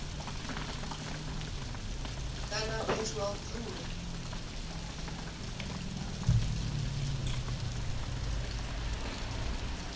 kana fhethu ha u dzula